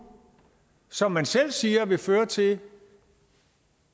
som man selv siger vil føre til